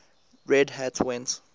red hat went